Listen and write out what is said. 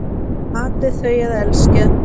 Hatið þau eða elskið